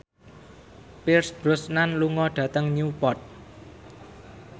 Pierce Brosnan lunga dhateng Newport